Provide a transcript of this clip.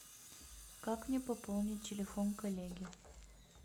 как мне пополнить телефон коллеги